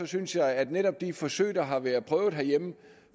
synes jeg at netop de forsøg der har været prøvet herhjemme